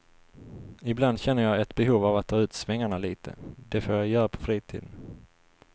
Ibland känner jag ett behov av att ta ut svängarna lite, det får jag göra på fritiden.